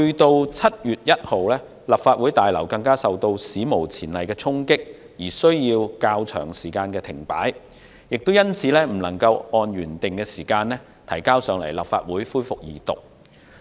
到了7月1日，立法會大樓更遭到史無前例的衝擊，被迫停止運作較長一段時間，因此未能按照原定時間把《條例草案》提交立法會恢復二讀。